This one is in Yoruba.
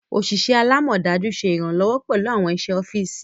Oṣiṣẹ alamọdaju ṣe iranlọwọ pẹlu awọn iṣẹ ọfisi.